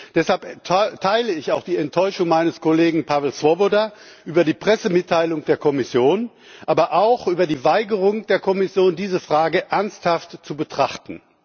Deshalb teile ich auch die Enttäuschung meines Kollegen Pavel Svoboda über die Pressemitteilung der Kommission, aber auch über die Weigerung der Kommission, diese Frage ernsthaft zu betrachten.